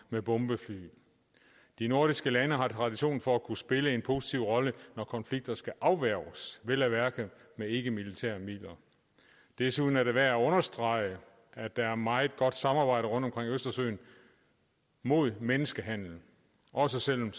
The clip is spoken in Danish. med bombefly de nordiske lande har tradition for at kunne spille en positiv rolle når konflikter skal afværges vel at mærke med ikkemilitære midler desuden er det værd at understrege at der er meget godt samarbejde rundt omkring østersøen mod menneskehandel også selv om